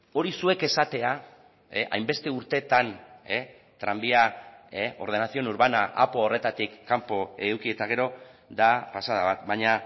hori zuek esatea hainbeste urteetan tranbia ordenación urbana apo horretatik kanpo eduki eta gero da pasada bat baina